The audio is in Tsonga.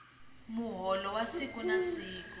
muholo wa siku na siku